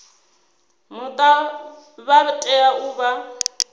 muta vha tea u vha